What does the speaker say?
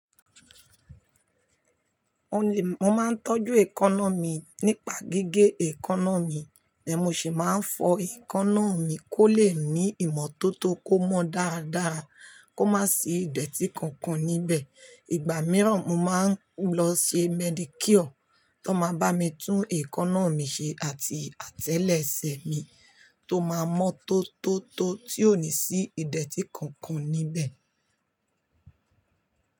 O lè, mo máa ń tọ́jú èékánná mi nípa gígé èékánná mi, then mo sì máa ń fọ èékánná mi kó lè ní ìmọ́tótó kó mọ dáadáa kó má sì idẹ̀tí kankan níbẹ̀. Igba mìíràn, mo máa ń lọ ṣe Medicure tó máa bá mi tún èékánná mi ṣe àti àtẹlẹsẹ̀ mi tó máa mọ́tótó tó ti ò ní sí ìdẹ̀tí kankan níbẹ̀.